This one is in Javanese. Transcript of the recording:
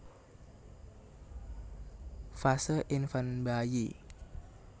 Fase Infant bayi